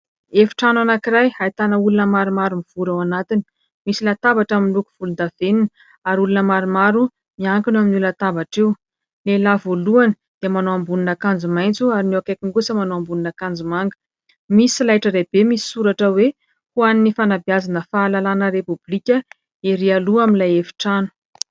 Efitrano anankiray ahitana olona maromaro mivory ao anatiny. Misy latabatra miloko volondavenona ary olona maromaro miankina eo amin'io latabatra io : ny lehilahy voalohany dia manao ambonin'akanjo maitso ary ny eo akaikiny kosa manao ambonin'akanjo manga. Misy solaitra lehibe misy soratra hoe : "Ho an'ny fanabeazana, fahalalahana repôblika" erỳ aloha amin'ilay efitrano.